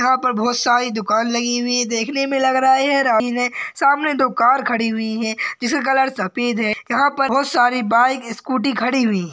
यहा पर बोहोत सारी दुकान लगी हुई है। देखने मे लग रहा है ये है। सामने दुकान खड़ी हुई है। जिस का कलर सफेद है। यहा पर बहुत सारी बाइक स्कूटी खड़ी हुई है।